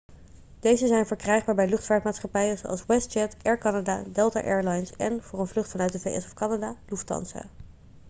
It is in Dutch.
deze zijn verkrijgbaar bij luchtvaartmaatschappijen zoals westjet air canada delta air lines en voor een vlucht vanuit de vs of canada lufthansa